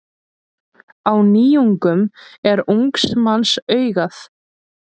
Á nýjungum er ungs manns augað.